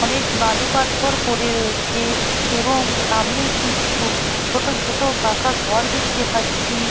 অনেক বালু পাথর পড়ে রয়েছে-এ এবং সামনে কিছু ছোট ছোট পাকা ঘর দেখতে পাচ্ছি-ই।